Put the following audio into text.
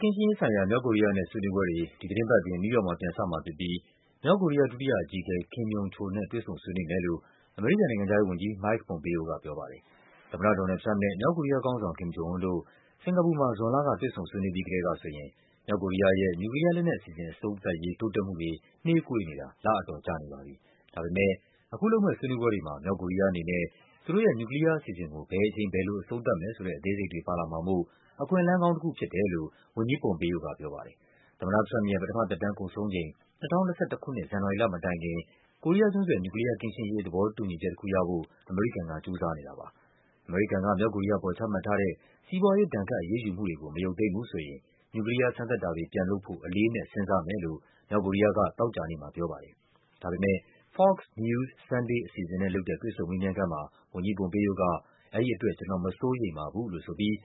ကင်းရှင်းရေးဆိုင်ရာ မြောက်ကိုရီးယားနဲ့ဆွေးနွေးပွဲတွေ ဒီသီတင်းပတ်အတွင်း နယူးယောက်မှာ ပြန်စမှာဖြစ်ပြီး မြောက်ကိုရီးယား ဒုတိယအကြီးအကဲ Kim Yong Chol နဲ့ တွေ့ဆုံဆွေးနွေးမယ်လို့ အမေရိကန်နိုင်ငံခြားရေးဝန်ကြီး Mike Pompeo ကပြောပါတယ်။ သမ္မတ ဒေါ်နယ်လ်ဒ် ထရမ့်ပ်နဲ့ မြောက်ကိုရီးယားခေါင်းဆောင် Kim Jong Un တို့ စင်္ကာပူမှာ ဇွန်လက တွေ့ဆုံဆွေးနွေးပြီး ကတည်းကဆိုရင် မြောက်ကိုရီးယားရဲ့ နျူကလီးယားလက်နက်အစီအစဉ် အဆုံးသတ်ရေး တိုးတက်မှုတွေ နှေးကွေးနေတာ လအတော် ကြာနေပါပြီ။ ဒါပေမဲ့ အခုလုပ်မယ့် ဆွေးနွေးပွဲတွေမှာ မြောက်ကိုရီးယားအနေနဲ့ သူတို့ရဲ့ နျူကလီးယားအစီအစဉ်ကို ဘယ်အချိန် ဘယ်လို အဆုံးသတ်မယ်ဆိုတဲ့ အသေးစိတ်တွေပါလာမှာမို့ “အခွင့်အလန်းကောင်းတခု” ဖြစ်တယ်လို့ ဝန်ကြီး Pompeo ကပြောပါတယ်။ သမ္မတထရမ့်ပ်ရဲ့ ပထမသက်တမ်းကုန်ဆုံးချိန် ၂၀၂၁ ခုနှစ် ဇန်နဝါရီလမတိုင်ခင် ကိုရီးယားကျွန်းဆွယ် နျူကလီးယားကင်းရှင်း ရေး သဘောတူညီတခုရဖို့ အမေရိကန်က ကြိုးစားနေတာပါ။ အမေရိကန်က မြောက်ကိုရီးယားအပေါ် ချမှတ်ထားတဲ့ စီးပွားရေး ဒဏ်ခတ်အရေးယူူမှုတွေကို မရုပ်သိမ်းဘူးဆိုရင် နျူကလီးယား စမ်းသပ်တာတွေ ပြန်လုပ်ဖို့ “အလေးအနက်” စဉ်းစားမယ်လို့ မြောက်ကိုရီးယားက သောကြာနေ့မှာပြောပါတယ်။ ဒါပေမဲ့ Fox News Sunday အစီအစဉ်နဲ့လုပ်တဲ့ တွေ့ဆုံမေးမြန်းခန်းမှာ ဝန်ကြီး Pompoe က “အဲဒီအတွက် ကျနော် မစိုးရိမ်ပါဘူး” လို့ဆိုပြီး